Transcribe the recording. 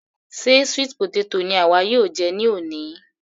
Ṣe sweet potato ni àwa yóò jẹ ní òní?